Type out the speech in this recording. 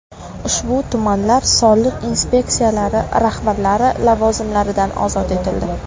Ushbu tumanlar soliq inspeksiyalari rahbarlari lavozimlaridan ozod etildi.